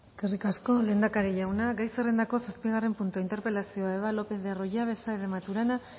eskerrik asko lehendakari jauna gai zerrendako zazpigarren puntua interpelazioa eva lopez de arroyabe saez de maturana